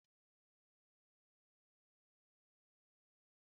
Ogiri na-enye ofe ndị Igbo nsị ọma pụrụ iche